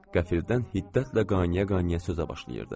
qəfildən hiddətlə qaynaya-qaynaya sözə başlayırdı.